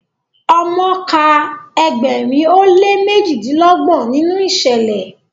omo kà Egberin o le mejidinlọgbọn ninu iṣẹlẹ